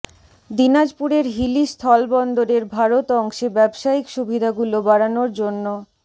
দিনাজপুরের হিলি স্থলবন্দরের ভারত অংশে ব্যবসায়িক সুবিধাগুলো বাড়ানোর জন্য